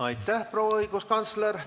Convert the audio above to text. Aitäh, proua õiguskantsler!